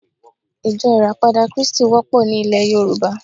Ijó ìràpadà krístì wópò ni ilè Yorùbá